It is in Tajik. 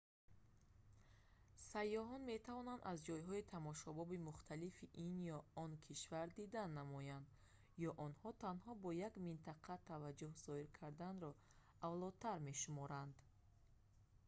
сайёҳон метавонанд аз ҷойҳои тамошобоби мухталифи ин ё он кишвар дидан намоянд ё онҳо танҳо ба як минтақа таваҷҷӯҳ зоҳир карданро авлотар мешуморанд